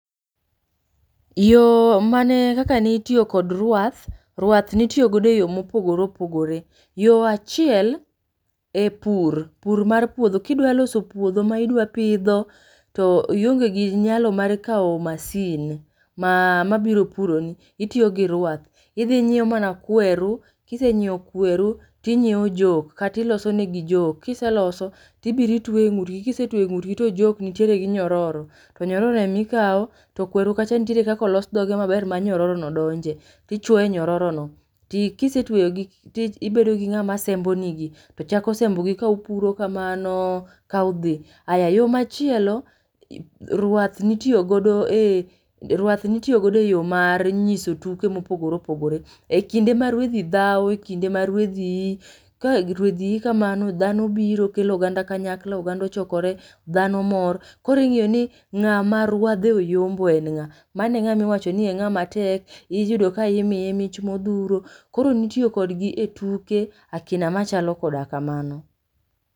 Yoo mane kaka nitio kod ruath. Ruath nitiyo godo e yoo mopogore opogore. Yoo achiel,e pur, pur mar puodho. Kidwaloso puodho maidwapidho to ionge gi nyalo mar kao masin ma mabiro puroni, itiyo gi ruath. Idhi inyiewo mana kweru, kisenyiewo kweru, tinyieo jok, katilosonegi jok . Kiseloso tibiro itwe ng'utgi. Kisetue ng'utgi to jok nitiere gi nyororo. To nyororo emikao to kweru kacha ntiere kakolos dhoge maber ma nyororono donje. Tichuo nyororono ti kisetueyogi tibedogi ng'ama sembo nigi tochako sembogi ka opuro kamano kaodhi. Aya yoo machielo ruath nitio godo e,ruath nitio godo e yoo mar nyiso tuke mopogore opogore. E kinde ma ruedhi dhawo,e kinde ma ruedhi ii, ka ruedhi ii kamano dhano biro, kelo oganda kanyakla. Oganda ochokore, dhano mor. Koro ing'iyoni ng'ama ruadhe oyombo en ng'a. Mano e ng'ama iwachoni e ng'ama tek. Iyudo ka imiye mich modhuro. Koro nitiyo kodgi e tuke akina machalo koda kamano.